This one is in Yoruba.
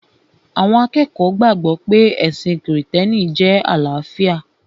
Àwọn akẹ́kọ̀ọ́ gbàgbọ̀ pé ẹ̀sìn krìstẹ́nì jẹ́ àlàáfíà